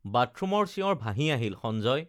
বাথৰুমৰ চিঁঞৰ ভাঁহি আহিল সঞ্জয়